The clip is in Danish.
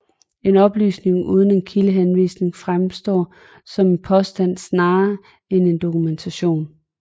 En oplysning uden en kildehenvisning fremstår som en påstand snarere end som en dokumentation